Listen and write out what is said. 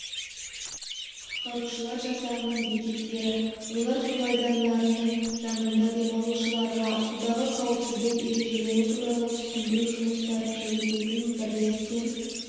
құтқарушылар жасағының бекеттері олар су айдындарының жанында демалушыларға судағы қауіпсіздік ережелері туралы түсіндіру жұмыстарын жүргізетін бірлескен